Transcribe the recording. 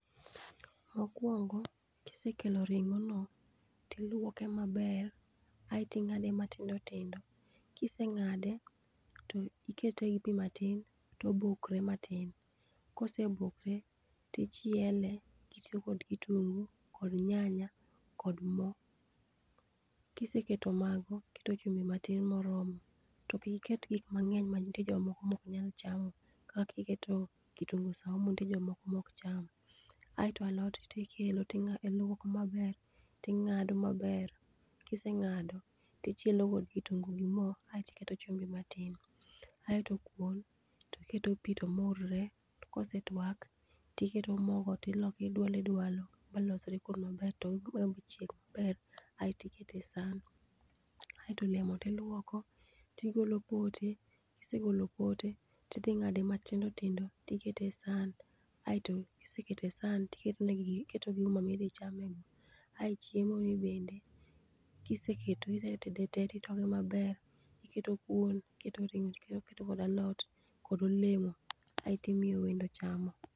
Mokuongo' kisekelo ringo'no tiluoke maber aeto inga'de matindo tindo, kisenga'de to iketoe gi pi matin to obokore matin kosebokre tichiele itiyo kod kitungu kod nyanya kod mo, kiseketo mago to iketo kitungu matin moromo to ki iket gik mange'ny ma nitiere jok moko ma ok nyal chamo kaka kiketo kitungu saumu nitie jomoko ma ok cham, aeto alot kisekelo iluoko maber tinga'do maber kisenga'do ti ichielo kod kitungu gi mo aeto iketo chumbi matin, aeto kuon iketo pi to murre to kosetwak tiketo mogo tiloko ti idwalo idwalo malosre kuon maber to iweye machieg maber aeto ikete saana, aeto olemo ti iluoko tigole pote kisegolo pote ti thi nga'de matindo tindo aeto ikete sahan aeto kiseketo e saha to iketonegi gi uma ma ithi chamego, aeto chiemoni bende kiseketo itoke maber iketo kuon iketo ringo' iketo kada alot kod olemo kaeto imiyo wendo chamo.